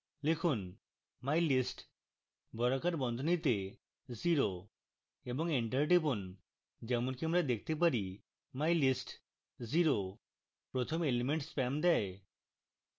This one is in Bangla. লিখুন mylist বর্গাকার বন্ধনীতে zero এবং enter টিপুন